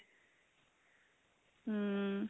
hm